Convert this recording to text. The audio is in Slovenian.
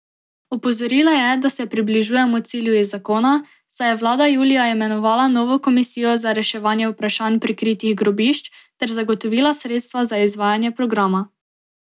Opozorila je, da se približujemo cilju iz zakona, saj je vlada julija imenovala novo komisijo za reševanje vprašanj prikritih grobišč, ter zagotovila sredstva za izvajanje programa.